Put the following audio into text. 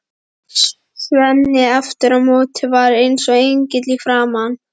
Svenni aftur á móti var eins og engill í framan.